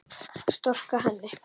Storka henni.